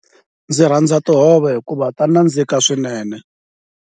Ndzi rhandza tihove hikuva ta nandzika swinene.